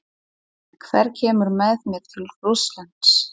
Hver kemur með mér til Rússlands?